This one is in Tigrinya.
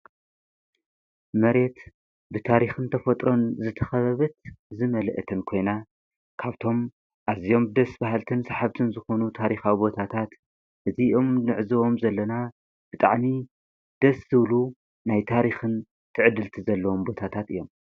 መሬት ብታሪኽን ተፈጥሮን ዝተኸበበት ዝመልአተን ኮይና ካብቶም ኣዚኦም ደስ ባሃልትን ስሓብትን ዝኾኑ ታሪኻዊ ቦታታት እቲ ኦም ንዕዝዎም ዘለና ብጣዕሚ ደስ ዝብሉ ናይ ታሪኽን ትዕድልቲ ዘለዎም ቦታታት እዮም።